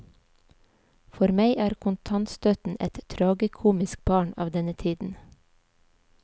For meg er kontantstøtten et tragikomisk barn av denne tiden.